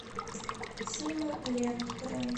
сима ленд бронь